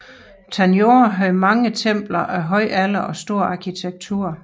Tanjore havde mange templer af høj alder og stor arkitektur